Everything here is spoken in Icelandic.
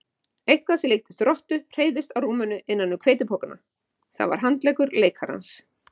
Eitthvað sem líktist rottu hreyfðist á rúminu innan um hveitipokana, það var handleggur leikarans.